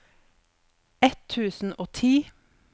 ett tusen og ti